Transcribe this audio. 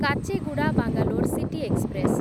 Kacheguda Bangalore city express